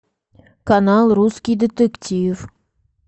канал русский детектив